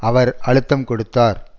அவர் அழுத்தம் கொடுத்தார்